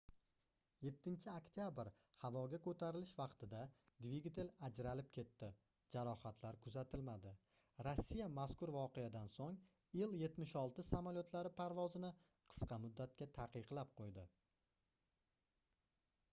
7-oktabr havoga koʻtarilish vaqtida dvigatel ajralib ketdi jarohatlar kuzatilmadi rossiya mazkur voqeadan soʻng ii-76 samolyotlari parvozini qisqa muddatga taqiqlab qoʻydi